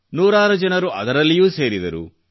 ನೂರಾರು ಜನರು ಅದರಲ್ಲಿಯೂ ಸೇರಿದರು